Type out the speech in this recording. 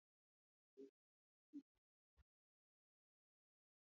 Àwọn ènìyàn yóò jẹun ní ilé-oúnjẹ ní àkókò Kérésìmesì.